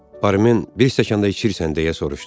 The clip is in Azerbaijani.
Barmin bir stəkan da içirsən deyə soruşdu.